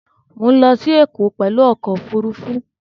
Mọ̀ ń lọ sí Ẹ̀kọ́ pẹ̀lú ọkọ̀ Òfurufú